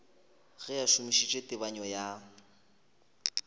ge a šomišitše tebanyo ya